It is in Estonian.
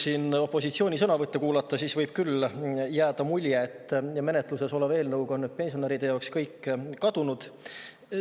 Kui nüüd siin opositsiooni sõnavõtte kuulata, siis võib küll jääda mulje, et menetluses oleva eelnõu tõttu on pensionäride jaoks kõik kadunud.